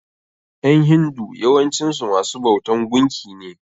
ƴan hindu yawancin su masu bautan gunki ne.